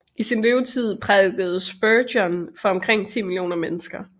I sin levetid prædikede Spurgeon for omkring 10 millioner mennesker